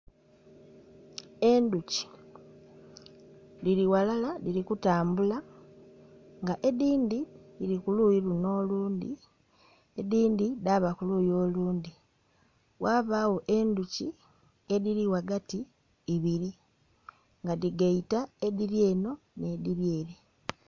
Endhuki dhiri ghalala dhiri kutambula nga edhindhi dhiri kuluyi luno olundhi edhindhi dhaba kuluyi olundhi ghabagho endhuki edhiri ghagati ibiri nga dhigaita edhiri eno n'edhiri ere.